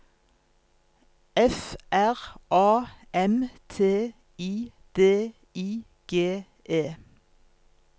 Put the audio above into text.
F R A M T I D I G E